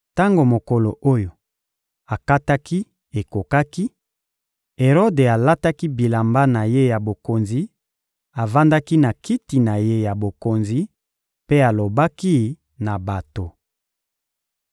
Tango mokolo oyo akataki ekokaki, Erode alataki bilamba na ye ya bokonzi, avandaki na kiti na ye ya bokonzi mpe alobaki na bato.